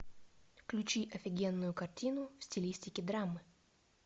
включи офигенную картину в стилистике драмы